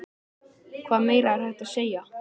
Hvað meira er hægt að segja?